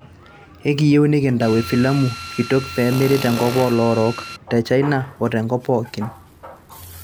ekiyieu nikintau efilamu kitok pemiri te nkop o loorok, te china o te nkop pooki.